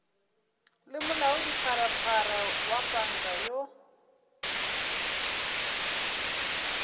le molaodipharephare wa panka yoo